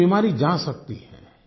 और ये बीमारी जा सकती है